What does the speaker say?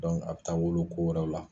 a bɛ taa wolo ko wɛrɛw la.